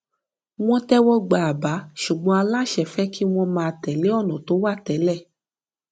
wọn tẹwọ gba àbá ṣùgbọn aláṣẹ fẹ kí wọn máa tẹlé ònà tó wà télè